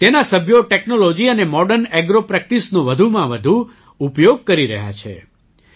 તેના સભ્યો ટૅક્નૉલૉજી અને મૉડર્ન ઍગ્રો પ્રેક્ટિસનો વધુમાં વધુ ઉપયોગ કરી રહ્યા છે